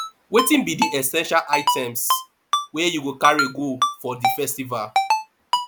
wetin be di essential items wey you go carry go for di festival